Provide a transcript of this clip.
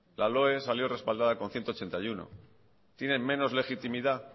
la loe salió respaldada con ciento ochenta y uno tienen menos legitimidad